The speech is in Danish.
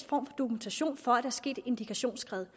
for dokumentation for at der er sket et indikationsskred